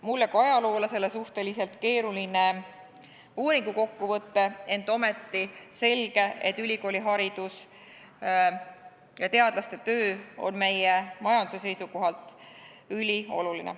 Mulle kui ajaloolasele suhteliselt keeruline uuringu kokkuvõte, ent ometi selge, et ülikooliharidus ja teadlaste töö on meie majanduse seisukohast ülioluline.